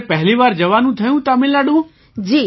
તમારે પહેલી વાર જવાનું થયું તમિલનાડુ